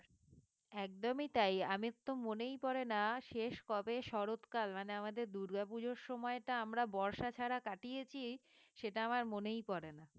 একদমই তাই আমার তো মনেই পড়ে না শেষ কবে শরৎকাল মানে আমাদের দুর্গাপুজোর সময়টা আমরা বর্ষা ছাড়া কাটিয়েছি সেটা আমার মনেই পড়ে না